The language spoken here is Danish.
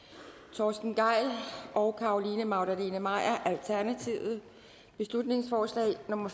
torsten gejl og carolina magdalene maier beslutningsforslag nummer